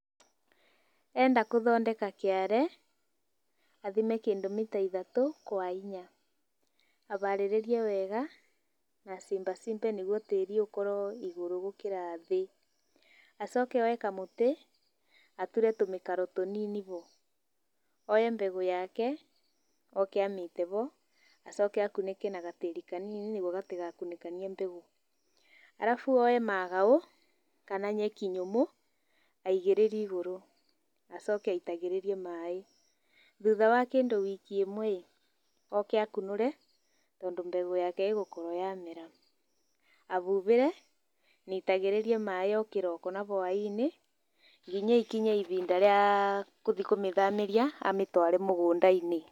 Enda gũthondeka kĩare athime kĩndũ mita ithatũ kwa inya aharĩrĩrie wega na acimbacimbe nĩguo tĩri ũkorwo igũrũ gũkĩra thĩ. Acoke oe kamũtĩ ature tũmĩkaro tũnini ho, oye mbegũ yake oke amĩite ho acoke akunĩke na gatĩri kanini nĩguo gatigakunĩkanie mbegũ. Ũcoke woye magaũ kana nyeki nyũmũ aigĩrĩre igũrũ. Acoke aitagĩrĩrie maaĩ thutha wa kĩndũ wiki ĩmwe oke akunũre tondũ mbegũ yake ĩgũkorwo yamera. Ahuhĩre na aitagĩrĩrie maaĩ o kĩroko na hwainĩ nginya ĩkinye ihinda rĩa gũthiĩ kũmĩthamĩria amĩtware mũgũnda-inĩ.